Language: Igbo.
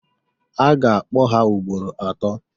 A ga-kpọ ha ugboro atọọ.